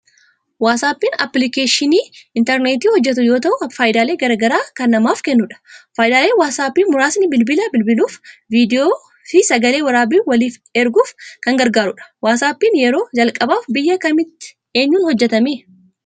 Waasaappiin appilikeeshinii interneetiin hojjetu yoo ta'u, faayidaalee garagaraa kan namaaf kennudha. Faayidaaleen Waasappii muraasni bilbila bilbiluuf, viidiyoo, fi sagalee waraabanii waliif erguuf kan gargaarudha. Waasaappiin yeroo jalqabaaf biyya kamitti eenyuun hojjetame?